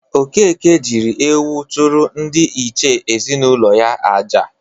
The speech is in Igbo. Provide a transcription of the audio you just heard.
Okeke jịrị ewu chụrụ ndị iche ezinaụlọ ya aja.